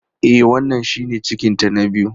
E, wannan shine cikinta na biyu.